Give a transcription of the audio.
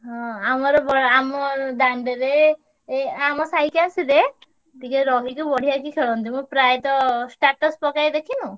ହଁ ଆମର ବଡ ଆମ ଦାଣ୍ଡେରେ ଏଇ ଆମ ସାଇକି ଆସିଲେ ଟିକେ ରହିକି ବଢିଆକି ଖେଳନ୍ତି। ମୁଁ ପ୍ରାୟତଃ status ପକାଏ ଦେଖିନୁ?